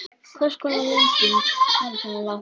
Hvers konar rigning var þetta eiginlega?